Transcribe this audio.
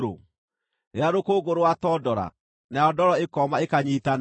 rĩrĩa rũkũngũ rwatondora, nayo ndoro ĩkooma ĩkanyiitana?